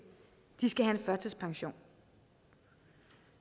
skal have førtidspension